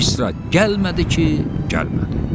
misra gəlmədi ki, gəlmədi.